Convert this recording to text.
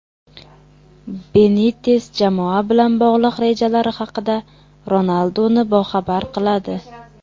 Benites jamoa bilan bog‘liq rejalari haqida Ronalduni boxabar qiladi.